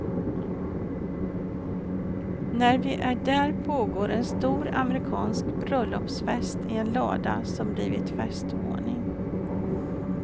När vi är där pågår en stor amerikansk bröllopsfest i en lada som blivit festvåning.